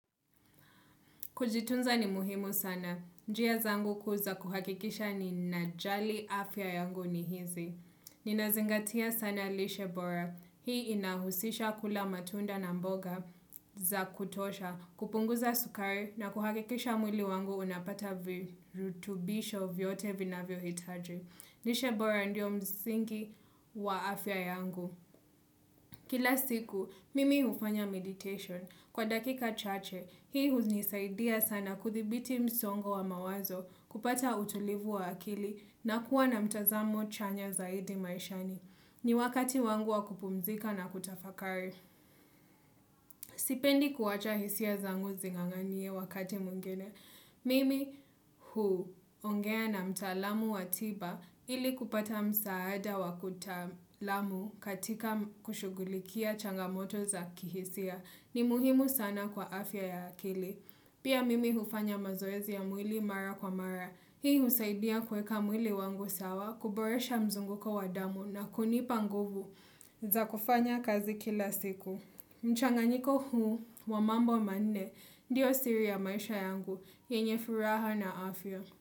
Kujitunza ni muhimu sana. Njia zangu kuu za kuhakikisha ninajali afya yangu ni hizi. Ninazingatia sana lishebora. Hii inahusisha kula matunda na mboga za kutosha, kupunguza sukari na kuhakikisha mwili wangu unapata virutubisho vyote vinavyo hitaji. Lishebora ndio msingi wa afya yangu. Kila siku, mimi hufanya meditation. Kwa dakika chache, hii hunisaidia sana kudhibiti msongo wa mawazo kupata utulivu wa akili na kuwa na mtazamo chanya zaidi maishani. Ni wakati wangu wa kupumzika na kutafakari. Sipendi kuwacha hisia zangu zing'ang'anie wakati mwingine. Mimi huongea na mtalamu watiba ili kupata msaada wakiutalamu katika kushughulikia changamoto za kihisia ni muhimu sana kwa afya ya akili. Pia mimi hufanya mazoezi ya mwili mara kwa mara. Hii husaidia kuweka mwili wangu sawa, kuboresha mzunguko wadamu na kunipanguvu za kufanya kazi kila siku. Mchanganyiko huu, wamambo manne, ndiyo siri ya maisha yangu, yenye furaha na afya.